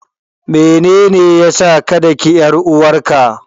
Menene ya sa ka daki ƴar uwarka?